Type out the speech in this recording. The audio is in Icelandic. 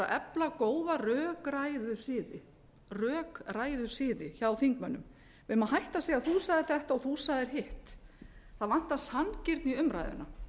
efla góða rökræðusiði hjá þingmönnum við eigum að hætta að segja þú sagðir þetta og þú sagðir hitt það vantar sanngirni í umræðuna